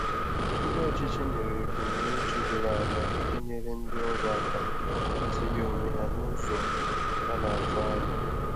Ndi ọchịchị nyere ebumnuche doro anya iji nyere ndị ọrụ aka itinye onwe ha n’ụzọ a na-atụ anya.